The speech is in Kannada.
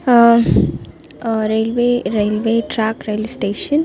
Ah railway railway track railway station .